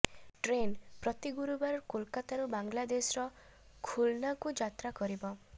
train ପ୍ରତି ଗୁରୁବାର କୋଲକାତାରୁ ବାଂଲାଦେଶର ଖୁଲନାକୁ ଯାତ୍ରା କରିବ